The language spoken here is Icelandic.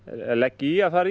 leggi í að fara í